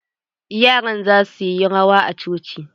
Yaran za suyi rawa a coci.